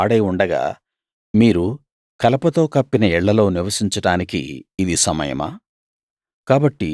ఈ మందిరం పాడై ఉండగా మీరు కలపతో కప్పిన ఇళ్ళలో నివసించడానికి ఇది సమయమా